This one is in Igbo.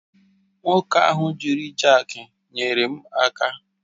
Nwoke ahụ jiri jakị nyere m aka